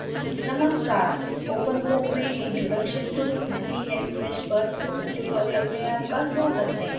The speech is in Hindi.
नमस्कार openfoam में introduction to snappyhexmesh पर spoken tutorial में आपका स्वागत है